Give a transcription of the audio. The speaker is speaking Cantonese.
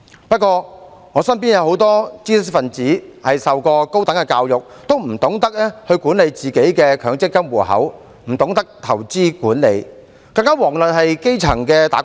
不過，我身邊有很多知識分子，他們受過高等教育，但也不懂得管理自己的強積金戶口、不懂得投資管理，更遑論是基層的"打工仔"。